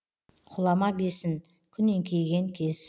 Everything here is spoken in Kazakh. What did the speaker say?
құлама бесін күн еңкейген кез